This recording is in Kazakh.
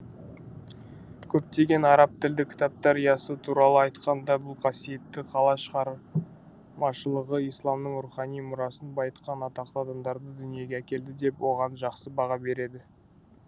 көптеген араб тілді кітаптар ясы туралы айтқанда бұл қасиетті қала шығармашылығы исламның рухани мұрасын байытқан атақты адамдарды дүниеге әкелді деп оған жақсы баға береді